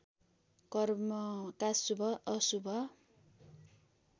कर्मका शुभ अशुभ